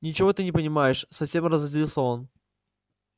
ничего ты не понимаешь совсем разозлился он